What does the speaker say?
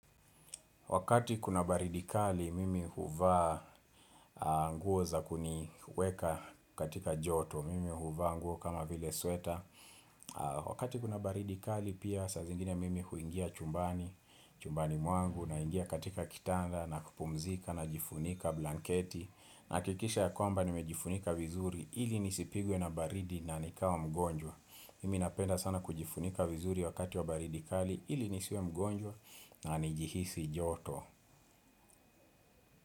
Wakati kuna baridi kali, mimi huvaa nguo za kuniweka katika joto, mimi huvaa nguo kama vile sweta. Wakati kuna baridi kali, pia saa zingine mimi huingia chumbani mwangu, naingia katika kitanda, na kupumzika, najifunika blanketi. Nahakikisha ya kwamba nimejifunika vizuri ili nisipigwe na baridi na nikawa mgonjwa. Mi napenda sana kujifunika vizuri wakati wa baridi kali ili nisiwe mgonjwa na nijihisi joto.